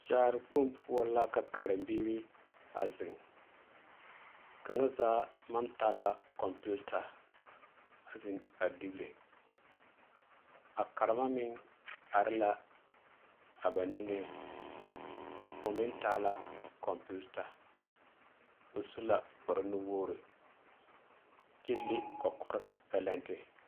Kyaare kpoŋ poɔ la ka karenbiiri a zeŋ kaŋa zaa naŋ taa la kɔmpiita a zeŋ a diire a karema mine are la a ba niŋeŋ o meŋ taa la kɔmpiita o su la kparre nuwogiri kyɛ le kɔkɔre bɛlente